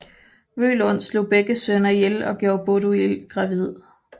Vølund slog begge sønner ihjel og gjorde Båduild gravid